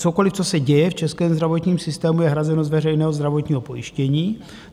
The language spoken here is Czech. Cokoliv, co se děje v českém zdravotním systému, je hrazeno z veřejného zdravotního pojištění.